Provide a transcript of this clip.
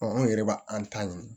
anw yɛrɛ b'a an ta ɲini